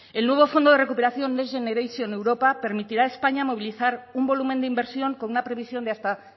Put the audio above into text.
el nuevo fondo de recuperación next generation europa permitirá a españa movilizar un volumen de inversión con una previsión de hasta